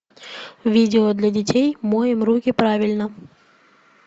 видео для детей моем руки правильно